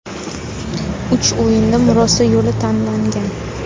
Uch o‘yinda murosa yo‘li tanlangan.